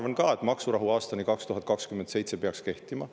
Mina arvan ka, et maksurahu peaks aastani 2027 kehtima.